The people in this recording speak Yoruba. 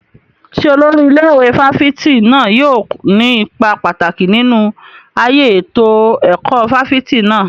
Ṣé olórí ilé ìwé fáfitì náà yóò ní ipa pàtàkì nínú ayé ètò ẹ̀kọ́ fáfitì náà?